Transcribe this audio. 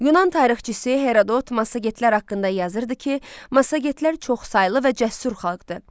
Yunan tarixçisi Herodot Massagetlər haqqında yazırdı ki, Massagetlər çoxsaylı və cəsur xalqdır.